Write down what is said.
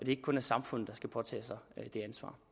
ikke kun er samfundet der skal påtage sig det ansvar